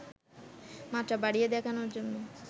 মাত্রা বাড়িয়ে দেখানোর জন্য